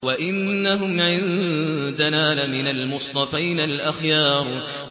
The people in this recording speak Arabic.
وَإِنَّهُمْ عِندَنَا لَمِنَ الْمُصْطَفَيْنَ الْأَخْيَارِ